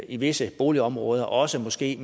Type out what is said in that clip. i visse boligområder også måske